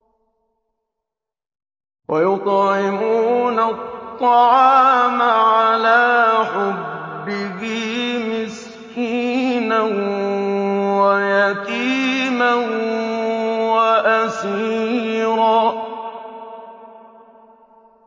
وَيُطْعِمُونَ الطَّعَامَ عَلَىٰ حُبِّهِ مِسْكِينًا وَيَتِيمًا وَأَسِيرًا